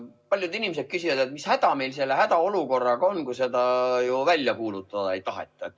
Paljud inimesed küsivad, mis häda meil selle hädaolukorraga on, et seda välja kuulutada ei taheta.